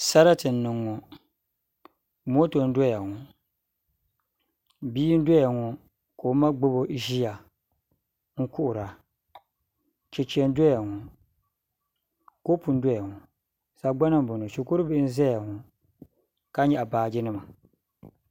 Sarati n niŋ ŋo moto n doya ŋo bia n doya ŋo ka oma gbubo ʒiya n kuhura chɛchɛ n doya ŋo kopu n doya ŋo sagbana n boŋo shikuru bihi n ʒɛya ŋo ka nyaɣa baaji nima